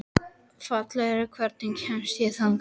Falgeir, hvernig kemst ég þangað?